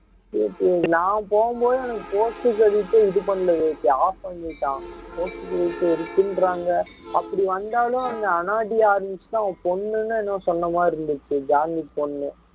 சரி சரி நான் போகும்போது எனக்கு post credit ஏ இது பண்ணல விவேக் off பண்ணிட்டான் post credit இருக்குன்றாங்க அப்படி வந்தாலும் அந்த யாருன்னுச்சுன்னா அவன் பொண்ணுன்னு என்னவோ சொன்ன மாதிரி இருந்துச்சு ஜான்விக் பொண்ணு